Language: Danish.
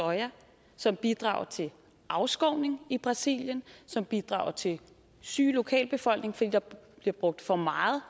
soja som bidrager til afskovning i brasilien som bidrager til en syg lokalbefolkning fordi der bliver brugt for meget